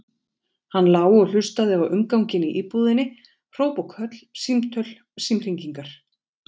Hann lá og hlustaði á umganginn í íbúðinni, hróp og köll, símtöl, símhringingar.